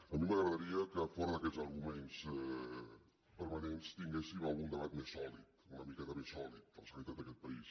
a mi m’agradaria que fora d’aquests arguments permanents tinguéssim algun debat més sòlid una miqueta més sòlid de la sanitat d’aquest país